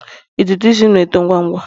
ntutu isi m na-eto ngwa ngwa